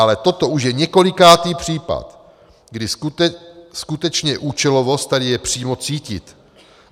Ale toto už je několikátý případ, kdy skutečně účelovost tady je přímo cítit.